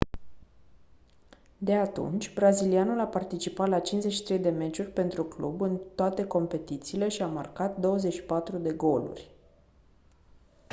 de atunci brazilianul a participat la 53 de meciuri pentru club în toate competițiile și a marcat 24 de goluri